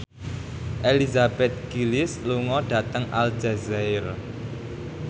Elizabeth Gillies lunga dhateng Aljazair